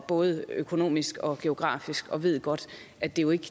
både økonomisk og geografisk og ved godt at det jo ikke